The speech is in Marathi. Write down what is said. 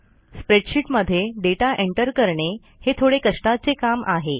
स्प्रेडशीटमध्ये डेटा एंटर करणे हे थोडे कष्टाचे काम आहे